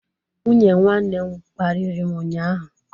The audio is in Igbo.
Nwunye nwanne m kparịrị m ụnyahụ